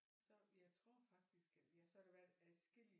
Så jeg tror faktisk ja så har der været adskillige